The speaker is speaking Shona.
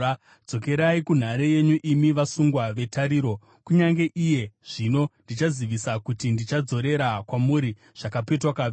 Dzokerai kunhare yenyu, imi vasungwa vetariro; kunyange iye zvino ndichazivisa kuti ndichadzorera kwamuri zvakapetwa kaviri.